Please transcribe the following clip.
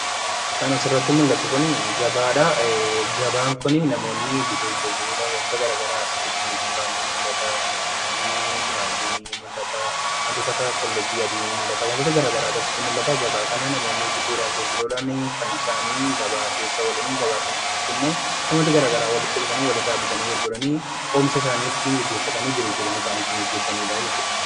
Kan asirratti mul'atu kun gabaadha. Gabaan bituuf gurguruudhhaf wantionni hara garaa asitti dinnichi fa'a ni mul'ata, timaatimii, qullubbii adii fi wantoota gara garaatu ni mul'ata. Gabaa kana namoonni asitti bituu fi gurguruudhaani kan isaan gabaa keessa oolan. Gabaa kana keessatti immoo namoonni gara garaa walitti dhufanii walirraa botanic gurguranii oomisha usaanii ittiin gaggeeffatanii jiruuf jireenya isaanii ittiin adeemsifatanidha jechuudha.